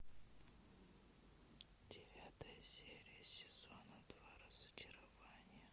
девятая серия сезона два разочарование